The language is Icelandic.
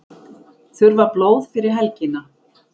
Þurfa blóð fyrir helgina